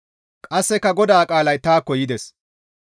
Qasseka GODAA qaalay taakko yides;